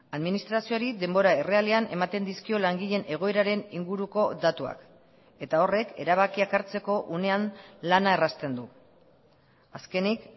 administrazioari denbora errealean ematen dizkio langileen egoeraren inguruko datuak eta horrek erabakiak hartzeko unean lana errazten du azkenik